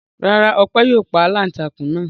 Rárá, Ọpẹ́ yóò pa aláǹtakùn náà.